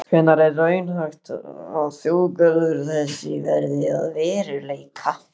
Hvenær er raunhæft að þjóðgarður þessi verði að veruleika?